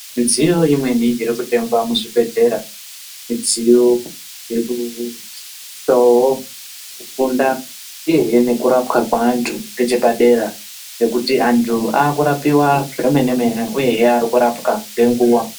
Midziyo imweni irikutengwa muzvibhedhlera midziyo irikusisawo kufunda uyehe nekurapwa kweantu kwechepadera, nekuti antu aakurapiwa zvomene-mene uyehe arikurapwa ngenguwa.